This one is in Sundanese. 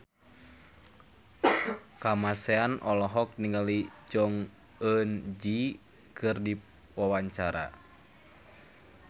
Kamasean olohok ningali Jong Eun Ji keur diwawancara